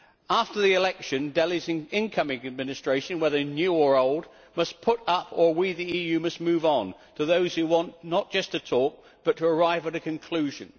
After the election, Delhi's incoming administration, whether new or old, must put up, or we the EU must move on to those who want not just to talk, but to arrive at a conclusion.